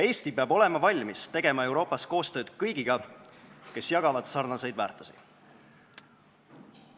Eesti peab olema valmis tegema Euroopas koostööd kõigiga, kes jagavad sarnaseid väärtusi.